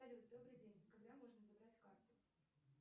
салют добрый день когда можно забрать карту